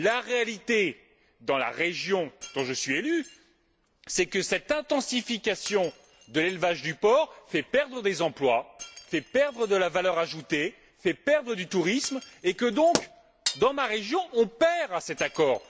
La réalité, dans la région où je suis élu, c'est que cette intensification de l'élevage du porc fait perdre des emplois, fait perdre de la valeur ajoutée, fait perdre du tourisme et que par conséquent, dans ma région, on est perdant dans cet accord.